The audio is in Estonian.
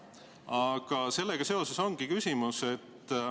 Aga sellega seoses ongi küsimus.